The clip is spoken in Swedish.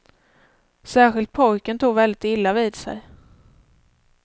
Särskilt pojken tog väldigt illa vid sig.